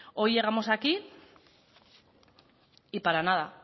hoy llegamos aquí y para nada